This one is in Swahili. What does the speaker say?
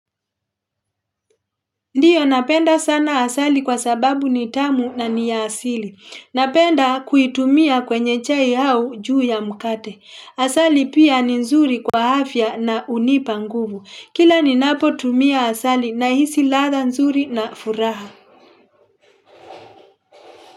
Ndiyo napenda sana asali kwa sababu ni tamu na ni ya asili. Napenda kuitumia kwenye chai au juu ya mkate. Asali pia ni nzuri kwa afya na unipa nguvu. Kila ni napo tumia asali na hisi latha nzuri na furaha.